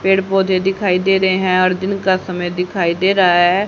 पेड़ पौधे दिखाई दे रहे हैं और दिन का समय दिखाई दे रहा है।